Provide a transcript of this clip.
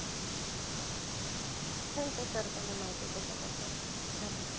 thank you sir तुम्ही माहिती दिल्याबद्दल. धन्यवाद.